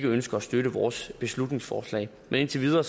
ønsker at støtte vores beslutningsforslag indtil videre